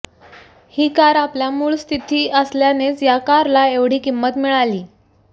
ही car आपल्या मूळ स्थिती असल्यानेच या कारला एवढी किंमत मिळाली